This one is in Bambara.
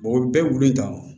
o bɛɛ bɛ gulo in dan